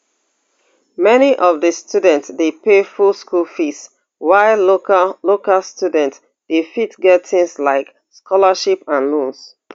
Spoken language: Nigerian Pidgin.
many of di students dey pay full school fees while local local students dey fit get tins like scholarships and loans